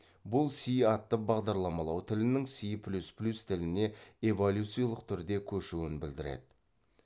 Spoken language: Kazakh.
бұл си атты бағдарламалау тілінің си плюс плюс тіліне эволюциялық түрде көшуін білдіреді